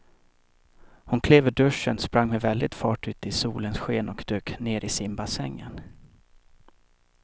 Hon klev ur duschen, sprang med väldig fart ut i solens sken och dök ner i simbassängen.